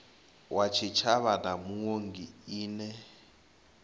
wa tshitshavha na muongi ine